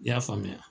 I y'a faamuya